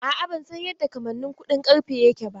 A'a, ban san yadda kamannin kuɗin ƙarfe yake ba.